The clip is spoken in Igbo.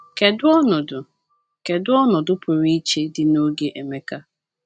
Kedu ọnọdụ Kedu ọnọdụ pụrụ iche dị n’oge Emeka?